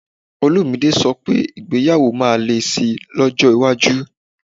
Olumide sọ pé ìgbéyàwó máa le sí i lọ́jọ́ iwájú